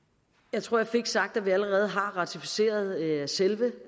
jeg tror jeg fik sagt at vi allerede har ratificeret selve